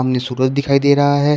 नी सूरज दिखाई दे रहा है।